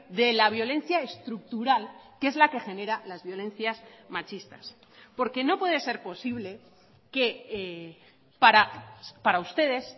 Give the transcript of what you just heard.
de la violencia estructural que es la que genera las violencias machistas porque no puede ser posible que para ustedes